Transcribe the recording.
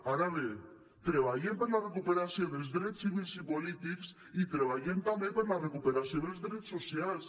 ara bé treballem per la recuperació dels drets civils i polítics i treballem també per la recuperació dels drets socials